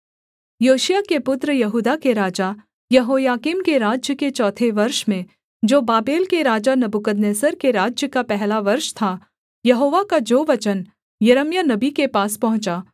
योशिय्याह के पुत्र यहूदा के राजा यहोयाकीम के राज्य के चौथे वर्ष में जो बाबेल के राजा नबूकदनेस्सर के राज्य का पहला वर्ष था यहोवा का जो वचन यिर्मयाह नबी के पास पहुँचा